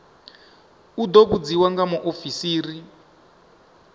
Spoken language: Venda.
u ḓo vhudziswa nga muofisiri